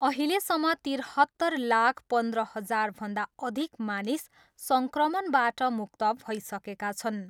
अहिलेसम्म तिरहत्तर लाख पन्ध्र हजारभन्दा अधिक मानिस सङ्क्रमणबाट मुक्त भइसकेका छन्।